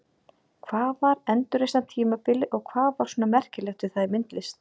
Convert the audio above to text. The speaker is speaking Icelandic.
Hvað var endurreisnartímabilið og hvað var svona merkilegt við það í myndlist?